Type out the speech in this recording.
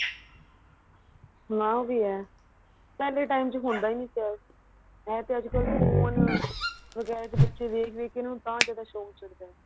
ਹਮ ਆਹ ਵੀ ਹੈ ਪਹਿਲੇ time ਚ ਹੁੰਦਾ ਹੀ ਨਹੀਂ ਸੀ ਏ ਐ ਤੇ ਅੱਜਕਲ ਫੋਨ ਵਗੇਰਾ ਚ ਬੱਚੇ ਦੇਖ ਦੇਖ ਕੇ ਤਾਂ ਜਿਆਦਾ ਸ਼ੋਂਕ ਚੜਦਾ